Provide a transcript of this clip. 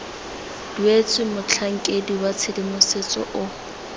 duetswe motlhankedi wa tshedimosetso o